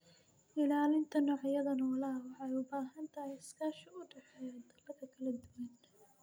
Ilaalinta noocyada noolaha waxay u baahan tahay iskaashi u dhexeeya dalalka kala duwan.